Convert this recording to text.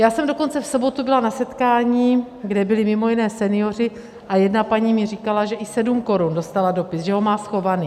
Já jsem dokonce v sobotu byla na setkání, kde byli mimo jiné senioři, a jedna paní mi říkala, že i 7 korun, dostala dopis, že ho má schovaný.